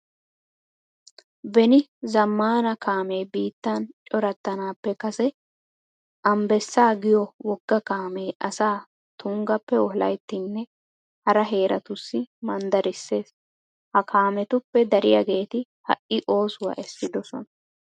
Beni zammaana kaamee biittan corattanaappe kase ambbessaa giyo wogga kaamee asaa tunggappe wolayttinne hara heeratussi manddarissees. Ha kaametuppe dariyageeti ha"i oosuwa essidosona.